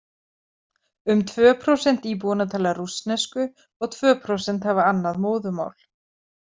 Um tvö prósent íbúanna tala rússnesku og tvö prósent hafa annað móðurmál.